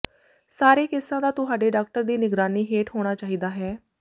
ਸਾਰੇ ਕੇਸਾਂ ਦਾ ਤੁਹਾਡੇ ਡਾਕਟਰ ਦੀ ਨਿਗਰਾਨੀ ਹੇਠ ਹੋਣਾ ਚਾਹੀਦਾ ਹੈ